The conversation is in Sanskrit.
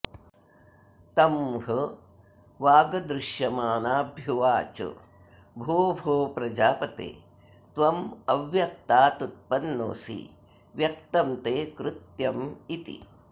तं ह वागदृश्यमानाभ्युवाच भोभो प्रजापते त्वमव्यक्तादुत्पन्नोऽसि व्यक्तं ते कृत्यमिति